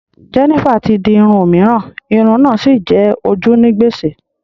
Jennifer ti di irun òmíràn, irun náà sì jẹ ojú ní gbèsè